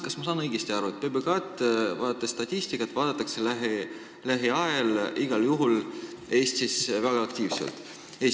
Kas ma saan õigesti aru, et statistika järgi vaadatakse PBK-d Eestis igal juhul väga aktiivselt?